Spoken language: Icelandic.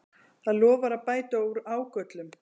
Það lofar að bæta úr ágöllum